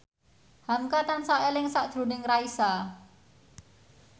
hamka tansah eling sakjroning Raisa